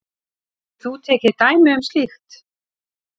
Getur þú tekið dæmi um slíkt?